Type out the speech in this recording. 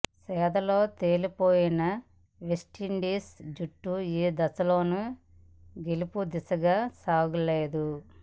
ఛేదనలో తేలిపోయిన వెస్టిండీస్ జట్టు ఏ దశలోనూ గెలుపు దిశగా సాగలేదు